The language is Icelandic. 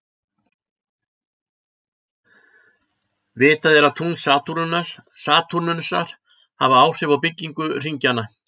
Vitað er að tungl Satúrnusar hafa áhrif á byggingu hringjanna.